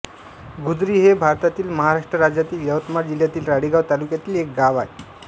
गुजरी हे भारतातील महाराष्ट्र राज्यातील यवतमाळ जिल्ह्यातील राळेगांव तालुक्यातील एक गाव आहे